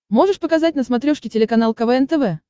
можешь показать на смотрешке телеканал квн тв